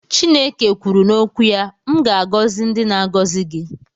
Chineke kwuru n'okwu ya "M ga-agọzi ndị na-agọzi gị